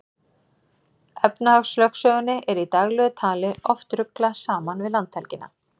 Efnahagslögsögunni er í daglegu tali oft ruglað saman við landhelgina.